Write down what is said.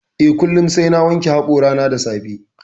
Eh. kullum sai na wanke hoƙorana da safe